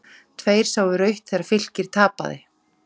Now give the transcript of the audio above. Tveir sáu rautt þegar Fylkir tapaði